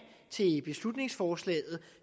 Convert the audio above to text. til beslutningsforslaget